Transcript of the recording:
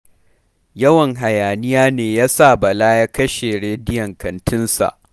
Yawan hayaniya ne ya sa Bala ya kashe rediyon kantinsa.